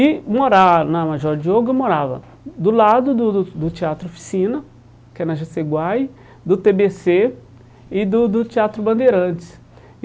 E morar na Major Diogo, eu morava do lado do do do Teatro Oficina, que é na Jaceguai, do tê bê cê e do do Teatro Bandeirantes.